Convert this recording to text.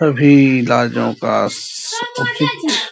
सभी राज्यों का --